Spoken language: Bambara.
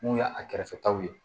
Mun y'a kɛrɛfɛtaw ye